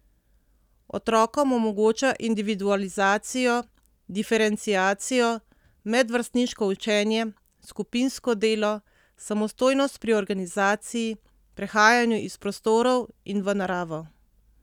Otrokom omogoča individualizacijo, diferenciacijo, medvrstniško učenje, skupinsko delo, samostojnost pri organizaciji, prehajanju iz prostorov in v naravo.